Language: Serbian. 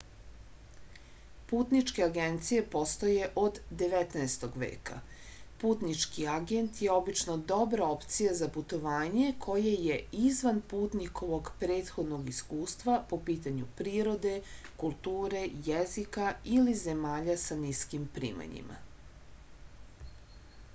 putničke agencije postoje od 19. veka putnički agent je obično dobra opcija za putovanje koje je izvan putnikovog prethodnog iskustva po pitanju prirode kulture jezika ili zemalja sa niskim primanjima